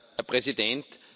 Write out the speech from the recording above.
Herr Präsident!